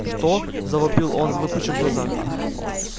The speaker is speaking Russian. что завопил он выпучив глаза